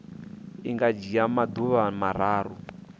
i nga dzhia maḓuvha mararu